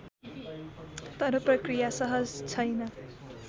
तर प्रक्रिया सहज छैन